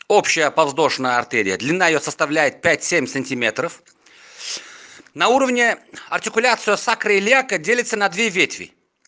общая подвздошная артерия длина её составляет пять семь сантиметров на уровне артикуляцию сакроилиака делится на две ветви